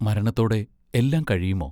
മരണത്തോടെ എല്ലാം കഴിയുമോ?